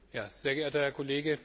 Sehr geehrter Herr Kollege!